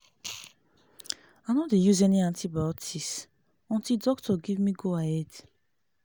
i no dey use any antibiotic until doctor give me go-ahead.